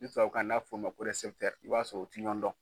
Ni tubabu kan n'a bɛ fɔ o ma ko i b'a sɔrɔ o tiɲɔgɔndɔn.